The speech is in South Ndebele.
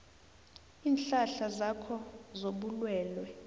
iinhlahla zakho zobulwelwe